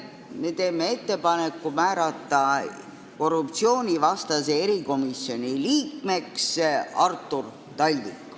Me teeme ettepaneku määrata Andres Herkeli asemel korruptsioonivastase erikomisjoni liikmeks Artur Talvik.